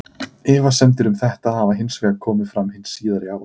Efasemdir um þetta hafa hins vegar komið fram hin síðari ár.